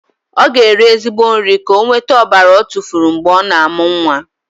Ọ ga-eri ezigbo nri ka o nwete ọbara ọ tufuru mgbe ọ na-amụ nwa.